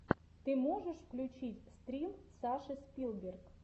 ты можешь включить стрим саши спилберг